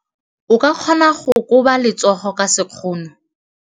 O ka kgona go koba letsogo ka sekgono.